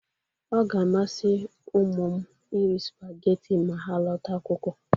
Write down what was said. Ọ ga-amasị ụmmụ m iri supageti ma ha lọta akwụkwọ.